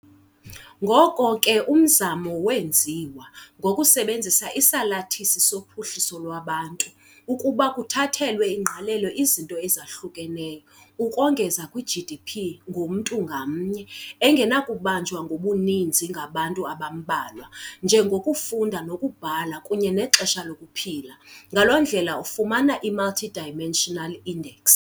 Ngoko ke umzamo wenziwa, ngokusebenzisa isalathisi sophuhliso lwabantu, ukuba kuthathelwe ingqalelo izinto ezahlukeneyo, ukongeza kwi -GDP ngomntu ngamnye, engenakubanjwa ngobuninzi ngabantu abambalwa, njengokufunda nokubhala kunye nexesha lokuphila, ngaloo ndlela ufumana i-multidimensional index.